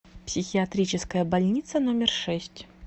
психиатрическая больница номер шесть